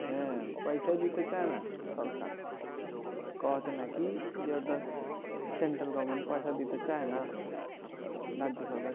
হ্যাঁ পয়সাই দিতে চায়না সরকার কওয়া আছে নাকি ওটা central government পয়সা দিতে চায়না রাজ্য সরকার